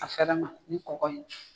A fɛɛrɛ ma ni kɔkɔ in